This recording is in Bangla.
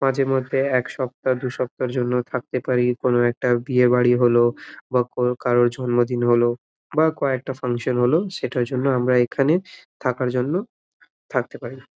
মাজে মধ্যে এক সপ্তা দুসপ্তার জন্য থাকতে পারি কোনো একটা বিয়ে বাড়ি হলো বা কোন কারোর জন্মদিন হলো বা কয়েকটা ফাঙ্কশন হলো সেটার জন্য আমরা এখানে থাকার জন্য থাকতে পারি |